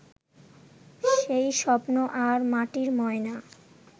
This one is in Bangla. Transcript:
সেই স্বপ্ন আর মাটির ময়না